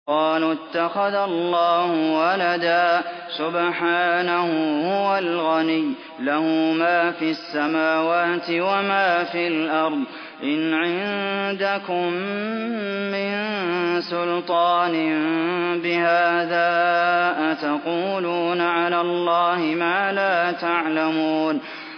قَالُوا اتَّخَذَ اللَّهُ وَلَدًا ۗ سُبْحَانَهُ ۖ هُوَ الْغَنِيُّ ۖ لَهُ مَا فِي السَّمَاوَاتِ وَمَا فِي الْأَرْضِ ۚ إِنْ عِندَكُم مِّن سُلْطَانٍ بِهَٰذَا ۚ أَتَقُولُونَ عَلَى اللَّهِ مَا لَا تَعْلَمُونَ